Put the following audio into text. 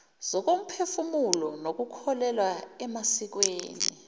zokomphefumulo nokukholelwa emasikweni